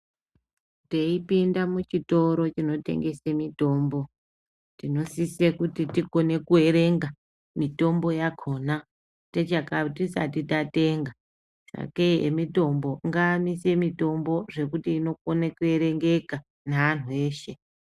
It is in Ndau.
Teipinda muchitoro chinotengese mitombo, tinosise kuti tikone kuerenga, mitombo yakhona, tichaka tisati tatenga ,sakei emitombo ngaamise mitombo, zvekuti inokone kuerengeka neantu eshe.